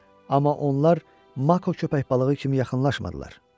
Amma onlar mako köpək balığı kimi yaxınlaşmadılar.